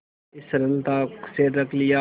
इस सरलता से रख लिया